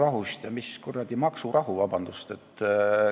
Vabandust, aga mis kuradi maksurahu?